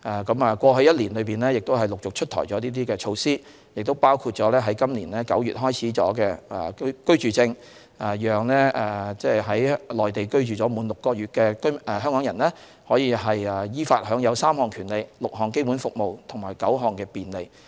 在過去的1年，已陸續出台了這些措施，當中包括今年9月開始推出的居住證，讓在內地居住滿6個月的香港人依法享有3項權利、6項基本公共服務及9項便利。